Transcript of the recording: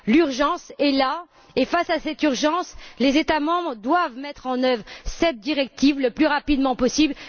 L'urgence est là et, face à cette urgence, les États membres doivent mettre en œuvre cette directive le plus rapidement possible.